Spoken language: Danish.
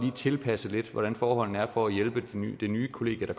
tilpasse lidt hvordan forholdene er for at hjælpe det nye kollegie af